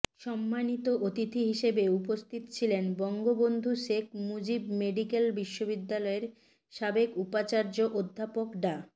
সম্মানিত অতিথি হিসেবে উপস্থিত ছিলেন বঙ্গবন্ধু শেখ মুজিব মেডিকেল বিশ্ববিদ্যালয়ের সাবেক উপাচার্য অধ্যাপক ডা